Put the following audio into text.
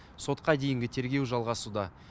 сотқа дейінгі тергеу жалғасуда